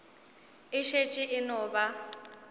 e šetše e no ba